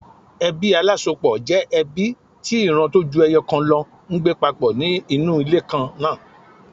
Ebí alásopọ̀ jẹ́ ẹbí tí ìran tó ju ẹyọ̀ kan lọ ń gbé papọ̀ ní inú ilé kan náà.